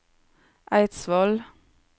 Eidsvoll